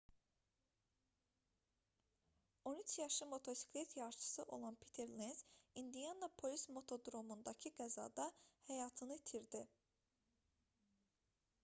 13 yaşlı motosiklet yarışçısı olan piter lenz i̇ndianapolis motodromundakı qəzada həyatını itirdi